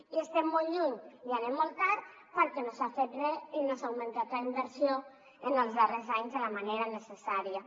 i n’estem molt lluny i anem molt tard perquè no s’ha fet re i no s’ha augmentat la inversió en els darrers anys de la manera necessària